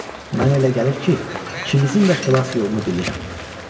Mənə elə gəlir ki, ikimizin də xilas yolunu bilirəm."